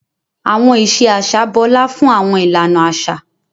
Àwọn ìṣe aṣa bọla fun awọn ìlànà aṣa.